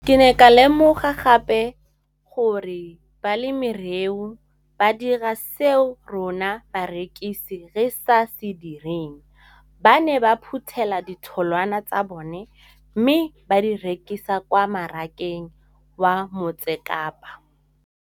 Ke ne ka lemoga gape gore balemirui ba dira seo rona barekisi re se dirang, ba ne ba phuthela ditholwana tsa bona mme ba di rekisa kwa marakeng wa Motsekapa.